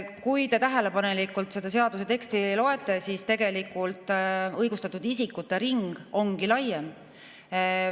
Kui te tähelepanelikult seda seaduse teksti loete, siis näete, et tegelikult õigustatud isikute ring ongi laiem.